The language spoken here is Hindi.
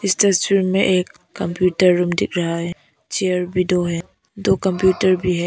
इस तस्वीर में एक कंप्यूटर रूम दिख रहा है चेयर भी दो है दो कंप्यूटर भी है।